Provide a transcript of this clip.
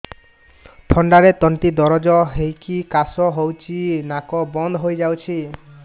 ଥଣ୍ଡାରେ ତଣ୍ଟି ଦରଜ ହେଇକି କାଶ ହଉଚି ନାକ ବନ୍ଦ ହୋଇଯାଉଛି